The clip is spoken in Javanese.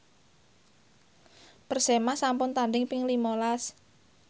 Persema sampun tandhing ping lima las